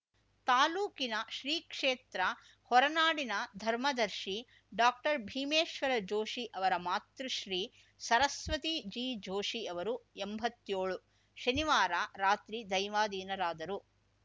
ತಾಲೂಕಿನ ಶ್ರೀ ಕ್ಷೇತ್ರ ಹೊರನಾಡಿನ ಧರ್ಮದರ್ಶಿ ಡಾಕ್ಟರ್ ಭೀಮೇಶ್ವರ ಜೋಷಿ ಅವರ ಮಾತೃಶ್ರೀ ಸರಸ್ವತಿ ಜಿ ಜೋಷಿ ಅವರು ಎಂಭತ್ತೇಳು ಶನಿವಾರ ರಾತ್ರಿ ದೈವಾಧೀನರಾದರು